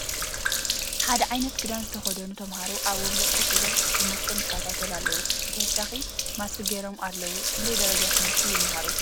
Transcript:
ሓደ ዕይነት ክዳን ዝተከደኑ ተምሃሮ ኣብ ወንበር ኮፍ ኢሎም ትምህርቶም ይከታተሉ ኣለዉ ብተውሳኪ ማስክ ገይሮም ኣለዉ ። ክንደይ ደረጃ ትምህርቲ ይመሃሩ ?